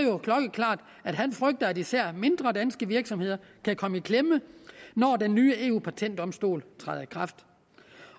at han frygter at især mindre danske virksomheder kan komme i klemme når den nye eu patentdomstol træder i kraft